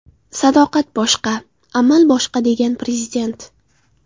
Sadoqat boshqa, amal boshqa”, – degan prezident.